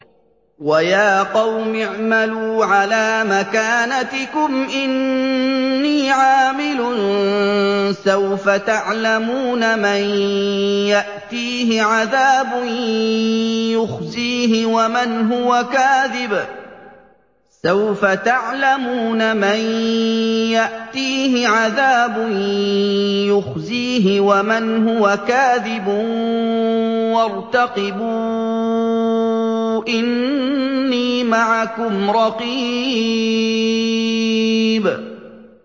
وَيَا قَوْمِ اعْمَلُوا عَلَىٰ مَكَانَتِكُمْ إِنِّي عَامِلٌ ۖ سَوْفَ تَعْلَمُونَ مَن يَأْتِيهِ عَذَابٌ يُخْزِيهِ وَمَنْ هُوَ كَاذِبٌ ۖ وَارْتَقِبُوا إِنِّي مَعَكُمْ رَقِيبٌ